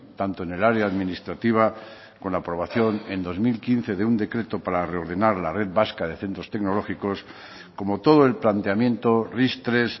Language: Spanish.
tanto en el área administrativa con la aprobación en dos mil quince de un decreto para reordenar la red vasca de centros tecnológicos como todo el planteamiento ris tres